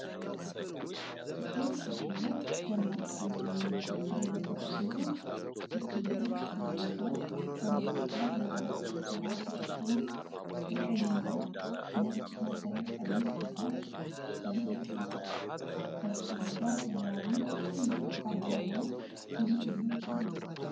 ጥቁር ሻሽና ደማቅ ሰማያዊ ልብሶችን የለበሱ ሴቶች እጅ ለእጅ ተያይዘው በመድረክ ላይ የባህል ጭፈራ ሲጨፍሩ። ከቀይና ነጭ ማሰሪያ ቀሚስ በታች ተንጠልጥሏል፤ ከበስተጀርባ ሰማያዊ ትልቅ ባነር እና ሙዚቀኞች አሉ።